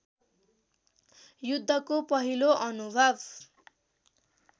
युद्धको पहिलो अनुभव